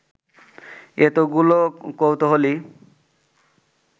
এতগুলো কৌতূহলী